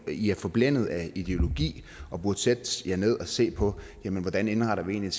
i er forblændet af ideologi og burde sætte jer ned og se på hvordan indretter vi egentlig